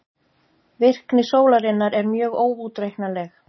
Virkni sólarinnar er mjög óútreiknanleg.